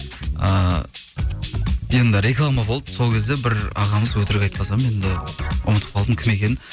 ыыы енді реклама болды сол кезде бір ағамыз өтірік айтпасам енді ұмытып қалдым кім екенін